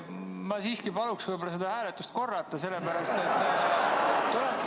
Ma siiski paluks seda hääletust korrata, sellepärast et ...